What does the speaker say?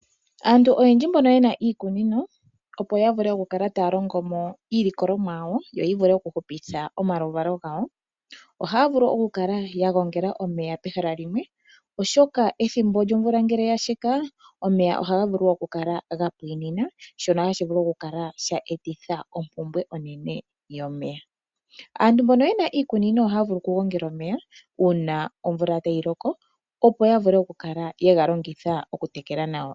Aantu oyendji mboka yena iikunino, opo ya vule oku kala taya tekula omaluvalo gawo ohaya vulu okukala yagongela omeya pehala limwe. Oshoka omvula ngele yasheka omeya ohaga vulu okukala gapwina shono hashi vulu oku eta ompumbwe onene yomeya. Aantu mbono yena iikunino ohaya vulu okugongela omeya uuna omvula tayi loko, opo ya vule oku kala yatekela nago iikunino yawo.